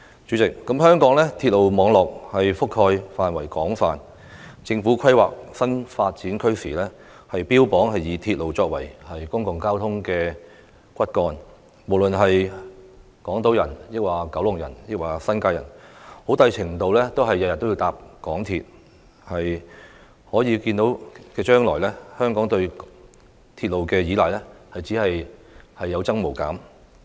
主席，香港鐵路網絡覆蓋範圍廣泛，政府規劃新發展區時，標榜以鐵路作為公共交通骨幹，不論是港島人、九龍人或新界人，每天很大程度都要乘坐港鐵出行，在可見的將來，香港對鐵路的依賴只會有增無減。